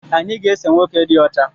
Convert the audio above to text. Anyị ga ese nwoke dị ọcha